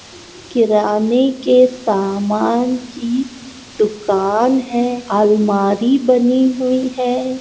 किराने के सामान की दूकान है अलमारी बनी हुई है।